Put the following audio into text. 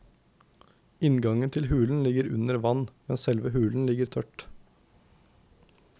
Inngangen til hulen ligger under vann, men selve hulen ligger tørt.